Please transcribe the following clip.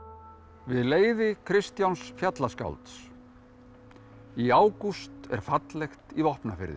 við leiði Kristjáns fjallaskálds í ágúst er fallegt í Vopnafirði